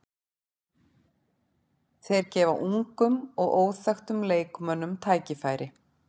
Þeir gefa ungum og óþekktum leikmönnum tækifæri.